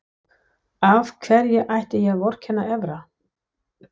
Af hverju ætti ég að vorkenna Evra?